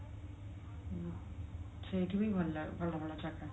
ସେଇଠି ବି ଭଲ ଭଲ ଜାଗା ଅଛି